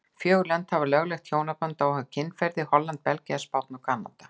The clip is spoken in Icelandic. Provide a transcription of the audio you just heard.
Fjögur lönd hafa lögleitt hjónaband óháð kynferði, Holland, Belgía, Spánn og Kanada.